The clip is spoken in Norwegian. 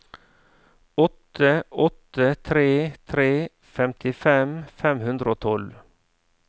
åtte åtte tre tre femtifem fem hundre og tolv